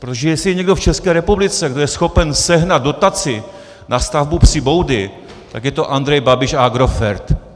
Protože jestli je někdo v České republice, kdo je schopen sehnat dotaci na stavbu psí boudy, tak je to Andrej Babiš a Agrofert.